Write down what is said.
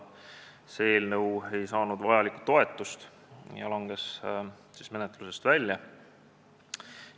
See eelnõu ei saanud varem vajalikku toetust ja langes menetlusest välja.